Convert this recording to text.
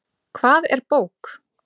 Hvað er bók?